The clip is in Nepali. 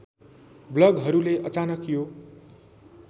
ब्लगहरूले अचानक यो